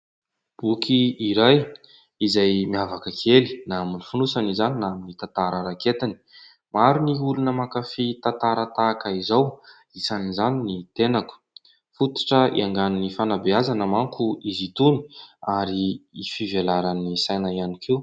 Boky iray izay miavaka kely, na amin'ny fonosany izany na amin'ny tantara raiketiny. Maro ny olona mankafy tantara tahaka izao, isan'izany ny tenako. Fototra iaingan'ny fanabeazana manko izy itony ary fivelaran'ny saina ihany koa.